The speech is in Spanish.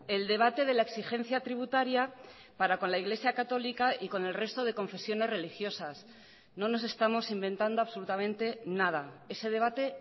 el debate de la exigencia tributaria para con la iglesia católica y con el resto de confesiones religiosas no nos estamos inventando absolutamente nada ese debate